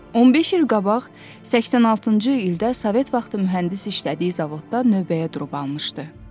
15 il qabaq 86-cı ildə Sovet vaxtı mühəndis işlədiyi zavodda növbəyə durub almışdı.